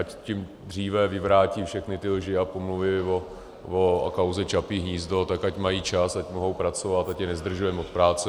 Ať tím dříve vyvrátí všechny ty lži a pomluvy o kauze Čapí hnízdo, tak ať mají čas, ať mohou pracovat, ať je nezdržujeme od práce.